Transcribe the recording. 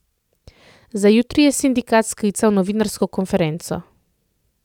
Za jutri je sindikat sklical novinarsko konferenco.